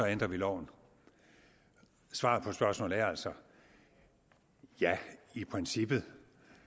ændrer vi loven svaret på spørgsmålet er altså ja i princippet